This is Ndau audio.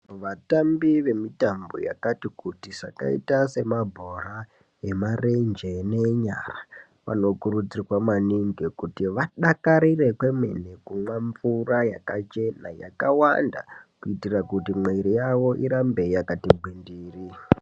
Vatambi vemitambo yakati kuti zvakaita semabhora emarenje nenyara, vanokurudzirwa maningi kuti vadakarire kwemene kumwa mvura yakachena yakawanda kuitira kuti mwiiri yawo irambe yakati gwindiri.